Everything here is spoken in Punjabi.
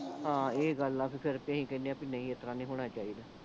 ਹਾਂ ਇਹ ਗੱਲ ਆ ਫੇਰ ਬੀ ਅਸੀਂ ਕਹਿਣੇ ਆ ਬੀ ਨਹੀਂ ਇਸ ਤਰਾਂ ਨਹੀਂ ਹੋਣਾਂ ਚਾਹੀਦਾ